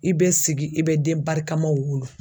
I bɛ sigi i bɛ den barikamaw wolo